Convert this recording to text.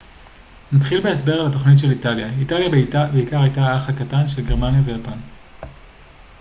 נתחיל בהסבר על התוכניות של איטליה איטליה הייתה בעיקר האח הקטן של גרמניה ויפן